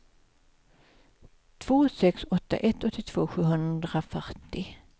två sex åtta ett åttiotvå sjuhundrafyrtio